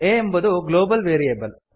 a ಎಂಬುದು global variable